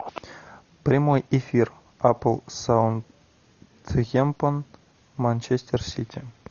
прямой эфир апл саутгемптон манчестер сити